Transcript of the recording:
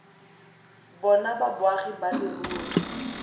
bona ba boagi ba leruri